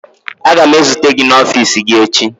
Aga m ezute gị n'ọfiisi gị echi.